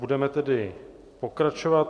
Budeme tedy pokračovat.